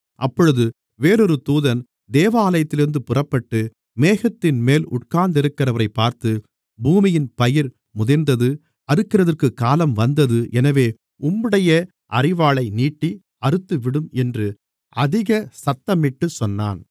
அப்பொழுது வேறொரு தூதன் தேவாலயத்திலிருந்து புறப்பட்டு மேகத்தின்மேல் உட்கார்ந்திருக்கிறவரைப் பார்த்து பூமியின் பயிர் முதிர்ந்தது அறுக்கிறதற்குக் காலம் வந்தது எனவே உம்முடைய அரிவாளை நீட்டி அறுத்துவிடும் என்று அதிக சத்தமிட்டுச் சொன்னான்